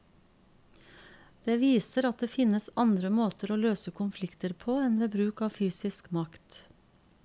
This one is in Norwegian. Det viser at det finnes andre måter å løse konflikter på enn ved bruk av fysisk makt.